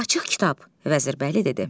"Açıq kitab", Vəzirbəyli dedi.